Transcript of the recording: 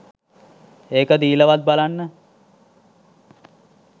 ඒක දීලා වත් බලන්න